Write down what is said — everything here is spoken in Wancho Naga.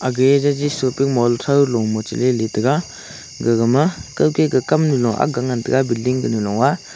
gegage shopping mall throu lo ma cheliley tega gagama kawke ka kamnu akga ngan taiga billing kanu loa.